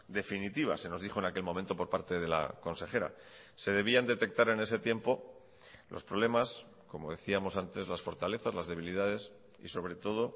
definitiva se nos dijo en aquel momento por parte de la consejera se debían detectar en ese tiempo los problemas como decíamos antes las fortalezas las debilidades y sobre todo